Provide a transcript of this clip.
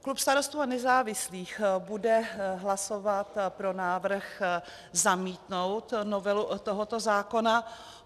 Klub Starostů a nezávislých bude hlasovat pro návrh zamítnout novelu tohoto zákona.